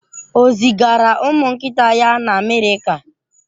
O zigara ụmụ nkịta ya na Amerika?